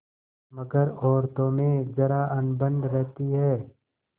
मगर औरतों में जरा अनबन रहती है